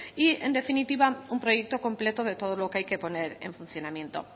y en definitiva un proyecto completo de todo lo que hay que poner en funcionamiento